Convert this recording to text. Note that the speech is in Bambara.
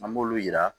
An b'olu yira